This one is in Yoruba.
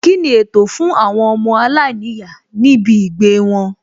Kíni ètò fún àwọn ọmọ aláìníyàá níbì gbèé wọn?